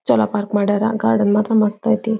ಚನ್ನಾಗಿ ಪಾರ್ಕ್ ಮಾಡ್ಯಾರ ಗಾರ್ಡನ್ ಮಾತ್ರ ಮಸ್ತ್ ಐತಿ.